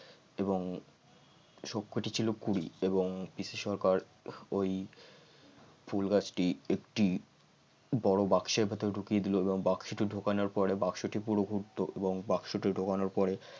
এবং সবকটি ছিল কুঁড়ি এবং পিসি সরকার ওই ফুল গাছটি একটি বড় বাক্সের ভিতর ঢুকিয়ে দিল এবং বাক্সটি ঢোকানোর পড়ে বাক্সটি পুরো গুপ্ত এবং বাক্সটি ঢোকানোর পরে